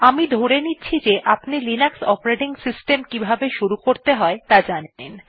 আমি ধরে নিচ্ছি যে আপনি লিনাক্স অপারেটিং সিস্টেম কিভাবে শুরু করতে হয় ত়া জানেন